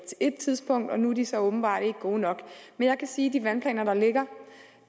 tidspunkt nu er de så åbenbart ikke gode nok men jeg kan sige om de vandplaner der ligger